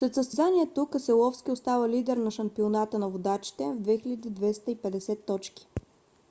след състезанието кеселовски остава лидер на шампионата на водачите с 2250 точки